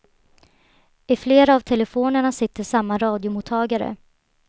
I flera av telefonerna sitter samma radiomottagare.